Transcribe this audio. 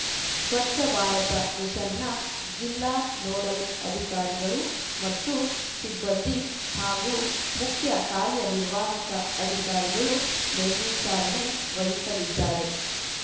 ಸ್ವಚ್ಛ ಭಾರತ ಮಿಷನ್‌ನ ಜಿಲ್ಲಾ ನೋಡಲ್‌ ಅಧಿಕಾರಿಗಳು ಮತ್ತು ಸಿಬ್ಬಂದಿ ಹಾಗೂ ಮುಖ್ಯ ಕಾರ್ಯನಿರ್ವಾಹಕ ಅಧಿಕಾರಿಗಳು ಮೇಲ್ವಿಚಾರಣೆ ವಹಿಸಲಿದ್ದಾರೆ